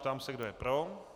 Ptám se, kdo je pro.